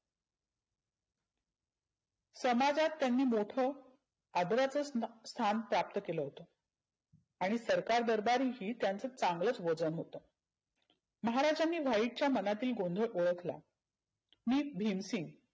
समाजात त्यांनी मोठ आदराचं स्टे स्थान प्राप्त केलं होतं. आणि सरकार दरबारी ही त्यांच चागलच वजन होतं. महाराजांनी व्हाईटच्या मनातला गोंधळ ओळखला. मी भिमसिंग